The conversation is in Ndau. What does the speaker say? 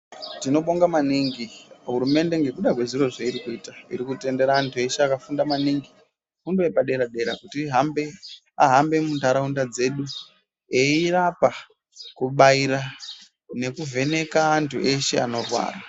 Tinobonga maningi hurumende ngekuda kwezvairi kuita iri kutendera anhu eshe akafunda maningi fundo yepadera dera kuti vahambe muntaraunda dzedu eirapa kubaira nekuvheneka antu eshe anorwara.